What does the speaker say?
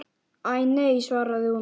Æ, nei svaraði hún.